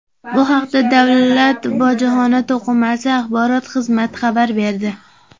Bu haqda Davlat bojxona qo‘mitasi axborot xizmati xabar berdi .